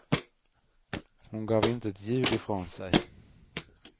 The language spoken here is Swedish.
Hon gav inte ett ljud ifrån sig.